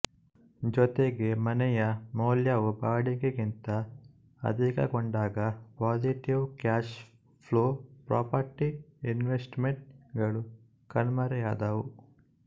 ಜೊತೆಗೆ ಮನೆಯ ಮೌಲ್ಯವು ಬಾಡಿಗೆಗಿಂತ ಅಧಿಕಗೊಂಡಾಗ positive cash flow property investment ಗಳು ಕಣ್ಮರೆಯಾದವು